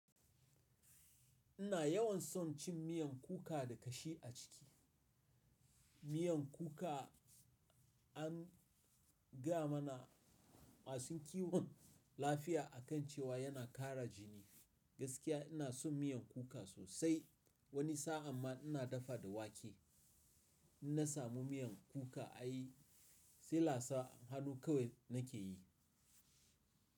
Ina yawan son cin miyan kuka da kashi a ciki. Miyan kuka an gaya mana masu kiwon lafiya a kan cewa yana ƙara jini. Gaskiya ina son miyan kuka sosai. Wani sa'an ma ina dafa da wake. In na samu miyan kuka ai selasa, hannu kawai na ke yi.